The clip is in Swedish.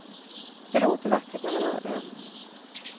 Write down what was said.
Det låter vackert när man hör det.